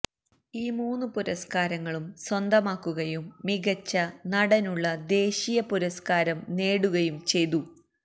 ഈ മൂന്ന് പുരസ്കാരങ്ങളും സ്വന്തമാക്കുകയും മികച്ച നടനുള്ള ദേശീയ പുരസ്കാരം നേടുകയും ചെയ്തു